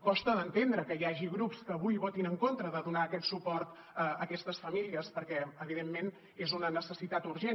costa d’entendre que hi hagi grups que avui votin en contra de donar aquest suport a aquestes famílies perquè evidentment és una necessitat urgent